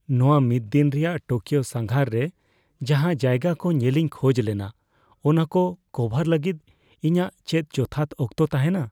ᱱᱚᱶᱟ ᱢᱤᱫᱽᱫᱤᱱ ᱨᱮᱭᱟᱜ ᱴᱳᱠᱤᱭᱳ ᱥᱟᱸᱜᱷᱟᱨ ᱨᱮ ᱡᱟᱦᱟᱸ ᱡᱟᱭᱜᱟ ᱠᱚ ᱧᱮᱞᱤᱧ ᱠᱷᱚᱡ ᱞᱮᱱᱟ ᱚᱱᱟᱠᱚ ᱠᱚᱵᱷᱟᱨ ᱞᱟᱹᱜᱤᱫ ᱤᱧᱟᱹᱜ ᱪᱮᱫ ᱡᱚᱛᱷᱟᱛ ᱚᱠᱛᱚ ᱛᱟᱦᱮᱱᱟ ?